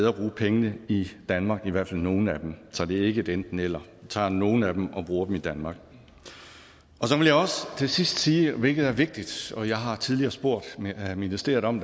at bruge pengene i danmark i hvert fald nogle af dem så det er ikke et enten eller vi tager nogle af dem og bruger dem i danmark så vil jeg også til sidst sige hvilket er vigtigt og jeg har tidligere spurgt ministeriet om